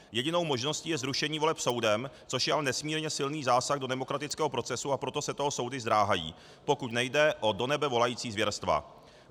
Jedinou možností je zrušení voleb soudem, což je ale nesmírně silný zásah do demokratického procesu, a proto se toho soudy zdráhají, pokud nejde o do nebe volající zvěrstva.